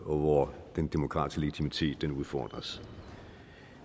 og hvor den demokratiske legitimitet udfordres